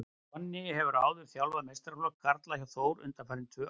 Donni hefur áður þjálfað meistaraflokk karla hjá Þór undanfarin tvö ár.